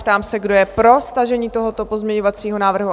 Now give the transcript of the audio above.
Ptám se, kdo je pro stažení tohoto pozměňovacího návrhu?